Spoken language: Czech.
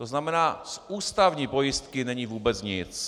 To znamená, z ústavní pojistky není vůbec nic.